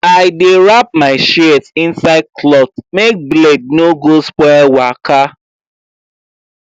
i dey wrap my shears inside cloth make blade no go spoil waka